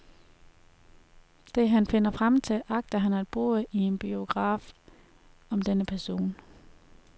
Det han finder frem til, agter han at bruge i en biograf om denne person.